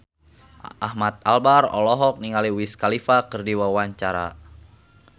Ahmad Albar olohok ningali Wiz Khalifa keur diwawancara